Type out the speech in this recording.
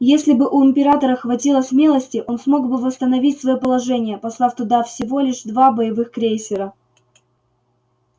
если бы у императора хватило смелости он смог бы восстановить своё положение послав туда всего лишь два боевых крейсера